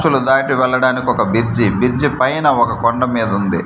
అచ్చులు దాటి వెళ్ళడానికి ఒక బిర్జి బిర్జి పైనా ఒక కొండ మీద ఉంది.